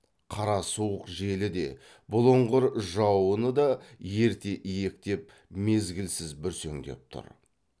қара суық желі де бұлыңғыр жауыны да ерте иектеп мезгілсіз бүрсеңдеп тұр